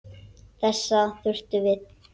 Þessa þarftu við.